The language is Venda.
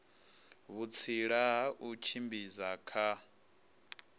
vhutsila ha u tshimbidza kha